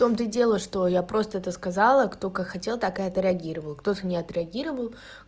том то и дело что я просто это сказала кто как хотел так и отреагировал кто-то не отреагировал